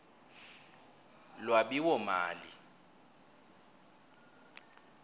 lwabiwomali